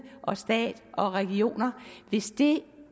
og stat og regioner hvis det